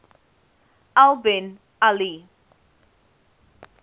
al bin ali